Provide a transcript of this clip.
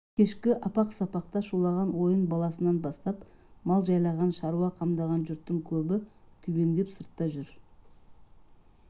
кешкі апақ-сапақта шулаған ойын баласынан бастап мал жайлаған шаруа қамдаған жұрттың көбі күйбеңдеп сыртта жүр